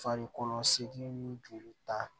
Farikolo segu ni joli ta